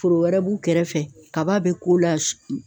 Foro wɛrɛ b'u kɛrɛfɛ kaba be k'o ala